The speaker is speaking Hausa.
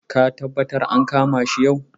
Ka taɓattar an kama shi yau.